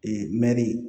Ee mɛri